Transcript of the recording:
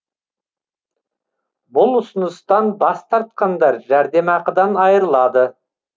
бұл ұсыныстан бас тартқандар жәрдемақыдан айырылады